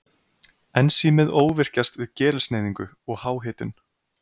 Ensímið óvirkjast við gerilsneyðingu og háhitun.